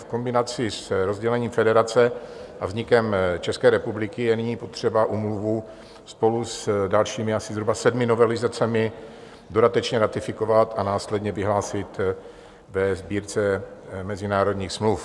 V kombinaci s rozdělením federace a vznikem České republiky je nyní potřeba úmluvu spolu s dalšími asi zhruba sedmi novelizacemi dodatečně ratifikovat a následně vyhlásit ve Sbírce mezinárodních smluv.